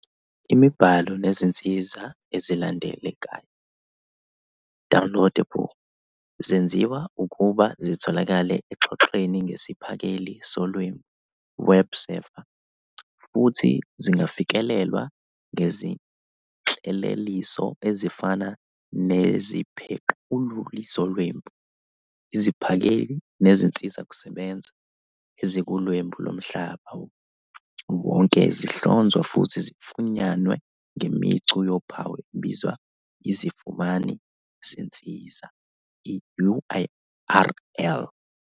Imibhalo nezinsiza ezilandekayo, "downloadable", zenziwa ukuba zitholakale oxhoxhweni ngesiphakeli solwebu, "web server", futhi zingafikelelwa ngezinhleleliso ezifana neziphequluli zolwebu. Iziphakeli nezinsizakusebenza ezikuLwebu loMhlaba Wonke zihlonzwa futhi zifunyanwe ngemicu yophawu ebizwa iziFumani ziNsiza "i-URL".